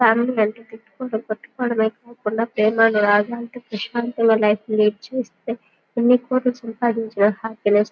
family అంటే తిట్టుకుంటూ కొట్టుకోవడమె కాకుండా ప్రేమానురాగాలతో ప్రశాంతంగా లైఫ్ లీడ్ చేస్తే ఎన్ని కోట్లు సంపాదించినా ఆ హ్యాపీనెస్ --